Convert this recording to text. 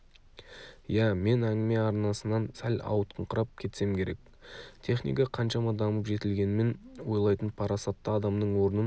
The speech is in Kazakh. ия мен әңгіме арнасынан сәл ауытқыңқырап кетсем керек техника қаншама дамып жетілгенімен ойлайтын парасатты адамның орнын